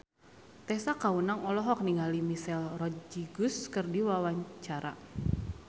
Tessa Kaunang olohok ningali Michelle Rodriguez keur diwawancara